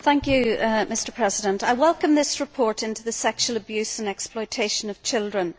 Mr President, I welcome this report into the sexual abuse and exploitation of children.